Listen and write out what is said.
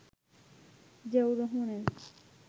জিয়াউর রহমানের